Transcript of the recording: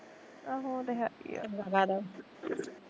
ਆਹੋ ਉਹ ਤੇ ਹੈਗੀ ਆ